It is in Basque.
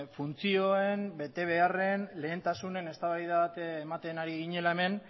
funtzioen betebeharren lehentasunen eztabaida bat ematen ari ginela hemen